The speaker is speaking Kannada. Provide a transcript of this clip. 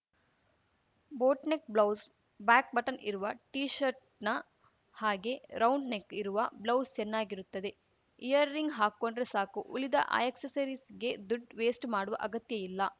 ಬೋಟ್‌ನೆಕ್‌ ಬ್ಲೌಸ್‌ ಬ್ಯಾಕ್‌ ಬಟನ್‌ ಇರುವ ಟೀಶರ್ಟ್‌ನ ಹಾಗೆ ರೌಂಡ್‌ ನೆಕ್‌ ಇರುವ ಬ್ಲೌಸ್‌ ಚೆನ್ನಾಗಿರುತ್ತದೆ ಯಿಯರ್‌ ರಿಂಗ್‌ ಹಾಕ್ಕೊಂಡ್ರೆ ಸಾಕು ಉಳಿದ ಆ್ಯಕ್ಸೆಸರೀಸ್‌ಗೆ ದುಡ್‌ ವೇಸ್ಟ್‌ ಮಾಡುವ ಅಗತ್ಯ ಇಲ್ಲ